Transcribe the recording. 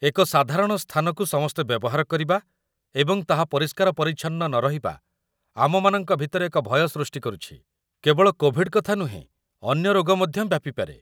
ଏକ ସାଧାରଣ ସ୍ଥାନକୁ ସମସ୍ତେ ବ୍ୟବହାର କରିବା ଏବଂ ତାହା ପରିଷ୍କାର ପରିଚ୍ଛନ୍ନ ନରହିବା, ଆମମାନଙ୍କ ଭିତରେ ଏକ ଭୟ ସୃଷ୍ଟି କରୁଛି, କେବଳ କୋଭିଡ୍ କଥା ନୁହେଁ, ଅନ୍ୟ ରୋଗ ମଧ୍ୟ ବ୍ୟାପି ପାରେ